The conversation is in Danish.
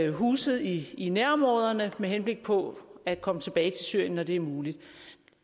huset i i nærområderne med henblik på at komme tilbage til syrien når det er muligt